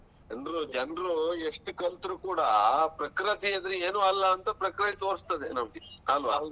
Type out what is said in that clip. ಅಂದ್ರು ಜನರು ಎಷ್ಟ್ ಕಲ್ತ್ರು ಕೂಡ ಆ ಪ್ರಕೃತಿ ಎದ್ರಿಗೆ ಏನು ಅಲ್ಲ ಅಂತ ಪ್ರಕೃತಿ ತೋರ್ಸ್ತದೇ ನಮಗೆ ಅಲ್ವ?